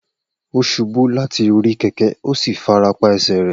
O ṣubu lati ori keke o si farapa ẹsẹ rẹ.